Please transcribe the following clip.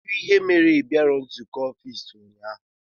Kedụ ihe mere na ibiaghi nzụkọ ọffici ụnyaahụ?